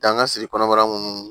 Danga siri kɔnɔbara munun